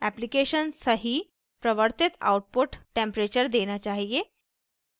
application सही प्रवर्तित output temperature देना चाहिए